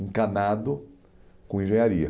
encanado com engenharia.